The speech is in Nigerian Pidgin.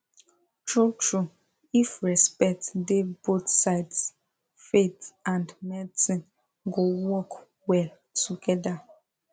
truetrue if respect dey both sides faith and medicine go work well together